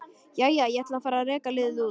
Jæja, ég ætla að fara að reka liðið út.